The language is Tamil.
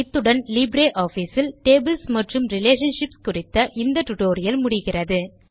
இத்துடன் LibreOfficeஇல் டேபிள்ஸ் மற்றும் ரிலேஷன்ஷிப்ஸ் குறித்த டுடோரியல் முடிகிறது